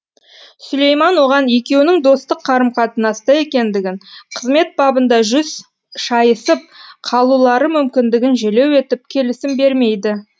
сүлейман оған екеуінің достық қарым қатынаста екендігін қызмет бабында жүз шайысып қалулары мүмкіндігін желеу етіп келісім бермейді